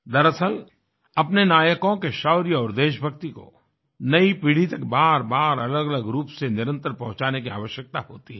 दरअसल अपने नायकों के शौर्य और देशभक्ति को नई पीढ़ी तक बार बार अलग अलग रूप से निरंतर पहुँचाने की आवश्यकता होती है